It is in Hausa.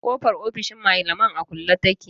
Kofar ofishin malaman a kulle take.